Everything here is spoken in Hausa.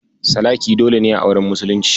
Sadaki dole ne a auren musulunci.